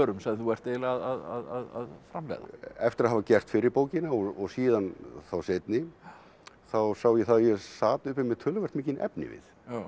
sem þú ert eiginlega að framleiða eftir að hafa gert fyrri bókina og síðan þá seinni þá sá ég það að ég sat uppi með töluvert mikinn efnivið